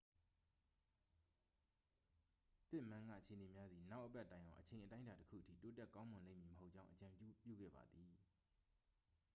ပစ်မန်းက အခြေအနေများသည် နောက်အပတ်တိုင်အောင် အချိန်အတိုင်းအတာတစ်ခုအထိ တိုးတက်ကောင်းမွန်လိမ့်မည်မဟုတ်ကြောင်း အကြံပြုခဲ့သည်